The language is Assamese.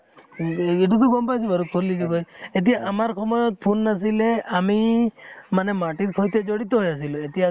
এইতোটো গম পাইছো বাৰু কলি যুগ হয় এতিয়া আমাৰ সময়ত phone নাছিলে আমি মানে মাটিৰ সৈতে জড়িত হৈ আছিলোঁ এতিয়া